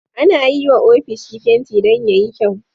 Ana yiwa ofishi fenti Dan yayi kyau